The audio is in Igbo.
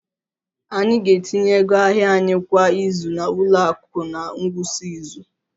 Anyị ga-etinye ego ahịa anyị kwa izu na ụlọ akụ na ngwụsị izu